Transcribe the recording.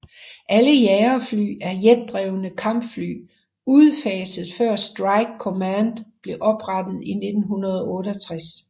Alle jagerfly er jetdrevne Kampfly udfaset før Strike command blev oprettet i 1968